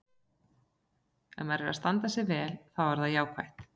Ef maður er að standa sig vel þá er það jákvætt.